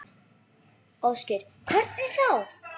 Ásgeir: Hvernig þá?